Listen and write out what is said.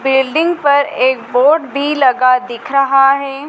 Building पर एक board भी लगा दिख रहा है।